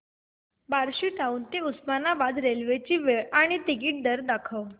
Barshi town ते Osmanabad railway ची वेळ आणि तिकीट दर दाखव